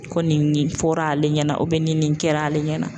Kɔni fɔra ale ɲɛna ni nin kɛra ale ɲɛna